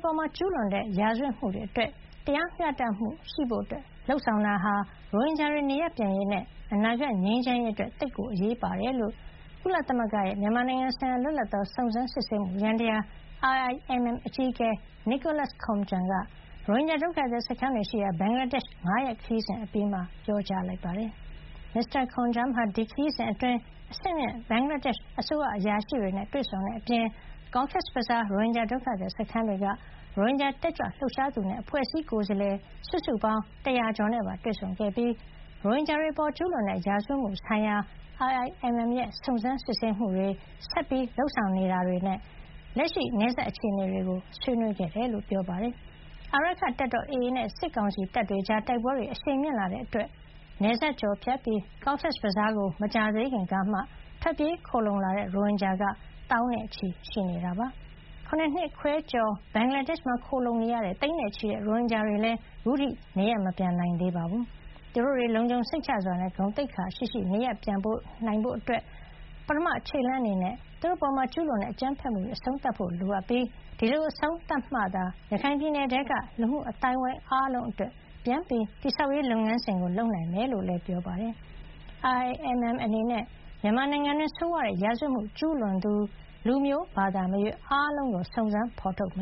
ပေါ်ကျူးလွန်တဲ့ ရာဇဝတ်မှုတွေ အတွက် တရားမျှတမှုရှိဖို့လုပ်ဆောင်တာဟာ ရိုဟင်ဂျာတွေ နေရပ်ပြန်ရေးနဲ့ အနာဂတ်ငြိမ်းချမ်းရေး အတွက် သိပ်အရေးပါတယ်လို့ ကုလသမဂ္ဂရဲ့ မြန်မာနိုင်ငံဆိုင်ရာ လွတ်လပ်သော စုံစမ်းစစ်ဆေးမှု ယန္တရား IIMM အကြီးအကဲ Nicholas Koumjian ရိုဟင်ဂျာ ဒုက္ခသည် စခန်းတွေရှိရာ ဘင်္ဂလာဒေ့ရှ် ၅ ရက်ခရီးစဉ် အပြီးမှာ ပြောကြားလိုက်ပါတယ်။ မစ္စတာ Koumjian ဟာ ဒီခရီးစဉ်အတွင်း အဆင့်မြင့် ဘင်္ဂလားဒေ့ရှ် အစိုးရအရာရှိတွေနဲ့ တွေ့ဆုံခဲ့တဲ့အပြင် Cox’s Bazar ရိုဟင်ဂျာ ဒုက္ခသည် စခန်းတွေက ရိုဟင်ဂျာတက်ကြွ လှုပ်ရှားသူတွေနဲ့ အဖွဲ့အစည်းကိုယ်စားလှယ် စုစုပေါင်း ၁၀၀ ကျော်နဲ့ပါ တွေ့ဆုံခဲ့ပြီး ရိုဟင်ဂျာတွေ အပေါ်ကျူးလွန်တဲ့ ရာဇဝတ်မှုဆိုင်ရာ IIMM ရဲ့ စုံစမ်းစစ်ဆေးမှုတွေ၊ ဆက်လက်လုပ်ဆောင်နေမှုတွေ နဲ့ လက်ရှိနယ်စပ် အခြေနေတွေကို ဆွေးနွေးခဲ့တာပါ။ အာရက္ခတပ်တော် AA နဲ့ စစ်ကောင်စီတပ်တွေကြား တိုက်ပွဲတွေ အရှိန်မြင့်လာတာကြောင့် နယ်စပ်ကျော်ဖြတ်ပြီး Cox’s Bazar ကို မကြာသေးခင်ကမှ ထွက်ပြေးခိုလှုံလာတဲ့ ရိုဟင်ဂျာက သောင်းနဲ့ချီ ရှိနေတာဖြစ်ပါတယ်။ ၇ နှစ်ခွဲကျော် ဘင်္ဂလားဒေ့ရှ်မှာ ခိုလှုံနေတဲ့ သိန်းနဲ့ချီတဲ့ ရိုဟင်ဂျာတွေလည်း ခုထိ နေရပ်မပြန်နိုင်သေးပါဘူး။ သူတို့တွေ လုံခြုံစိတ်ချစွာနဲ့ ဂုဏ်သိက္ခာရှိရှိ နေရပ်ပြန်နိုင်ဖို့ ပထမခြေလှမ်း အနေနဲ့ သူတို့အပေါ်ကျူးလွန်တဲ့ အကြမ်းဖက်မှုတွေ အဆုံးသတ်ဖို့ လိုအပ်ပြီး ဒီလို အဆုံးသတ်မှသာ ရခိုင်ပြည်နယ်ထဲက လူမှု အသိုင်းဝိုင်း အားလုံး အတွက် ပြန်လည်တည်ဆောက်ရေး လုပ်ငန်းစဉ်ကို လုပ်ဆောင်နိုင်မှာ ဖြစ်ကြောင်းလည်း ပြောပါတယ်။ IIMM အနေနဲ့ မြန်မာနိုင်ငံတွင်း ဆိုးဝါးတဲ့ ရာဇဝတ်မှု ကျူးလွန်သူ လူမျိုးဘာသာမရွေး အားလုံးကို စုံစမ်းဖေါ်ထုတ်မ